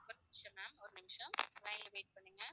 ஒரு நிமிஷம் ma'am ஒரு நிமிஷம் line ல wait பண்ணுங்க